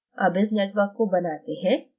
अब इस network को बनाते हैं